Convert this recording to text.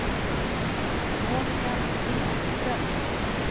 Monika Stenström